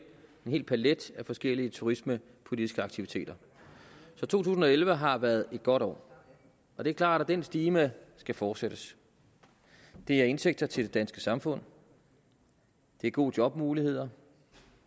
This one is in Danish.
hel palet af forskellige turismepolitiske aktiviteter så to tusind og elleve har været et godt år og det er klart at den stime skal fortsættes det er indtægter til det danske samfund det er gode jobmuligheder